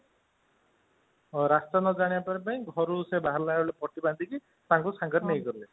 ରାସ୍ତା ନ ଜାଣିବା ପାଇଁ ଘରୁ ବାହାରିଲା ବେଳେ ପଟି ବାନ୍ଧିକି ତାଙ୍କୁ ସାଙ୍ଗରେ ନେଇଗଲେ